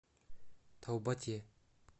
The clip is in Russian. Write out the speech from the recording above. таубате